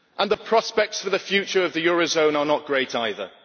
The prospects for the future of the eurozone are not great either.